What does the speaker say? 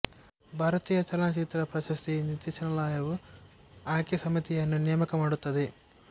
ಭಾರತೀಯ ಚಲನಚಿತ್ರ ಪ್ರಶಸ್ತಿ ನಿರ್ದೇಶನಾಲಯವು ಆಯ್ಕೆ ಸಮಿತಿಯನ್ನು ನೇಮಕ ಮಾಡುತ್ತದೆ